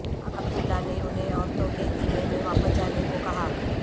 عبداللہ نے انہیں عورتوں کے خیمے میں واپس جانے کو کہا